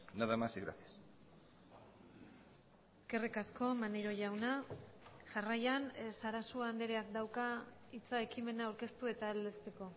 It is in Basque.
nada más y gracias eskerrik asko maneiro jauna jarraian sarasua andreak dauka hitza ekimena aurkeztu eta aldezteko